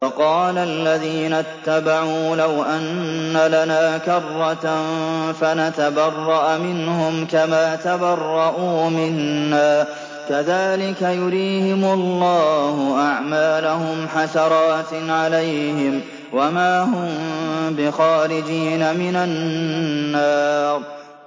وَقَالَ الَّذِينَ اتَّبَعُوا لَوْ أَنَّ لَنَا كَرَّةً فَنَتَبَرَّأَ مِنْهُمْ كَمَا تَبَرَّءُوا مِنَّا ۗ كَذَٰلِكَ يُرِيهِمُ اللَّهُ أَعْمَالَهُمْ حَسَرَاتٍ عَلَيْهِمْ ۖ وَمَا هُم بِخَارِجِينَ مِنَ النَّارِ